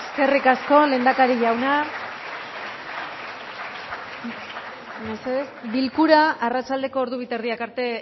egun on guztioi osoko bilkurari hasiera emango diogu mesedez bakoitza zuen eserlekuetan eseri eskerrik asko lehendakari jauna bilkura arratsaldeko ordu bi eta erdiak arte